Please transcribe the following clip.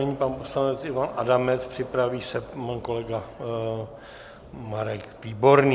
Nyní pan poslanec Ivan Adamec, připraví se pan kolega Marek Výborný.